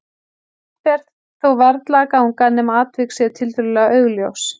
Svo langt ber þó varla að ganga nema atvik séu tiltölulega augljós.